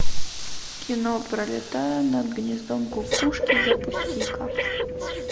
кино пролетая над гнездом кукушки запусти ка